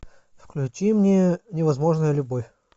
включи мне невозможная любовь